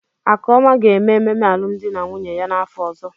Akụọma ga-eme ememe alụmdi na nwunye ya n'afọ ọzọ.